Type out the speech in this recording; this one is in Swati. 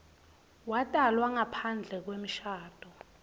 watalwa ngaphandle kwemshado